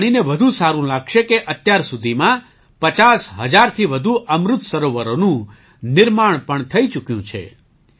તમને જાણીને સારું લાગશે કે અત્યાર સુધીમાં 50 હજારથી વધુ અમૃત સરોવરોનું નિર્માણ પણ થઈ ચૂક્યું છે